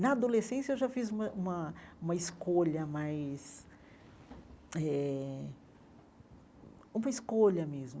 Na adolescência, eu já fiz uma uma uma escolha mais eh uma escolha mesmo.